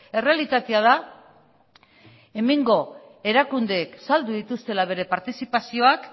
errealitatea da hemengo erakundeek saldu dituztela bere partizipazioak